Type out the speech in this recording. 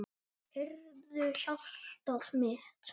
Heyrðu, hjartað mitt.